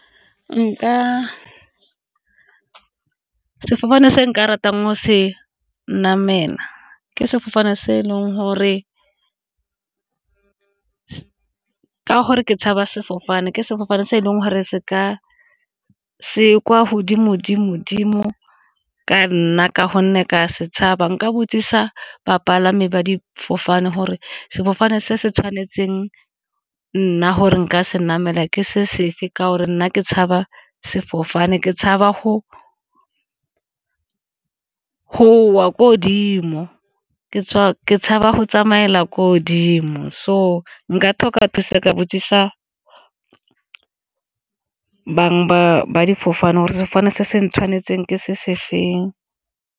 Nka, sefofane se nka ratang go se namelwa ke sefofane se e leng gore ka gore ke tshabe sefofane ke sefofane se e leng gore se ka se kwa godimo-dimo-dimo ka nna ka gonne ka se tshaba. Nka botsisa bapalami ba difofane gore sefofane se se tshwanetseng nna gore nka se namela ke se sefe ka gore nna ke tshaba sefofane. Ke tshaba go wa ko godimo ke tshaba go tsamaela ko godimo, so nka tlhoka thusa ka botsisa bang ba difofane gore sefofane se se tshwanetseng ke se se feng.